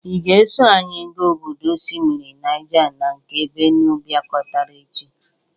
Ị ga-eso anyị ga obodo osimiri Naịja na nke Benue bịakọtara echi?